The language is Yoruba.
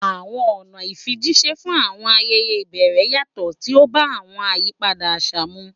Àwọn ọ̀nà ìfijíṣẹ́ fún àwọn ayẹyẹ ìbẹ̀rẹ̀ yàtọ̀, tí ó bá àwọn àyípadà àṣà mu.